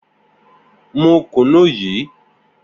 Mu kùnú yìí!